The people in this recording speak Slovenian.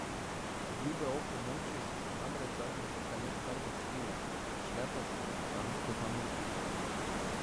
Obljube o pomoči so se namreč zadnjih nekaj let kar vrstile, prišle pa z gromozansko zamudo.